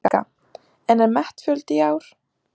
Helga: En er metfjöldi í ár?